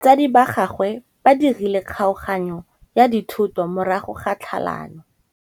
Batsadi ba gagwe ba dirile kgaoganyô ya dithoto morago ga tlhalanô.